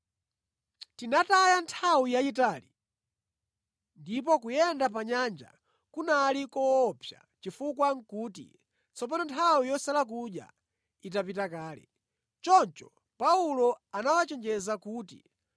Tinataya nthawi yayitali, ndipo kuyenda pa nyanja kunali koopsa chifukwa nʼkuti tsopano nthawi yosala kudya itapita kale. Choncho Paulo anawachenjeza kuti,